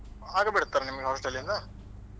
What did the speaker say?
ಹಾಗೆ ಬಿಡ್ತಾರಾ ನಿಮ್ಮ hostel ಇಂದ?